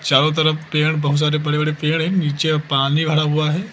चारों तरफ पेड़ बहोत सारे बड़े बड़े पेड़ हैं नीचे पानी भरा हुआ है।